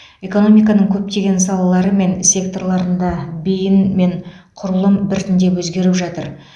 экономиканың көптеген салалары мен секторларында бейін мен құрылым біртіндеп өзгеріп жатыр